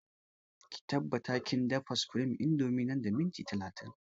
Ki tabbata kin dafa supreme indomie nan da minti talatin!